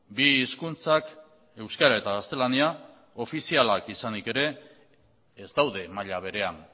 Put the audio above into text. bi hizkuntzak euskara eta gaztelania ofizialak izanik ere ez daude maila berean